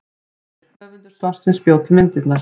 Myndir: Höfundur svarsins bjó til myndirnar.